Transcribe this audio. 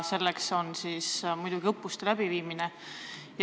Selleks on muidugi ette nähtud õppuste läbiviimine.